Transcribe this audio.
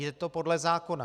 Je to podle zákona.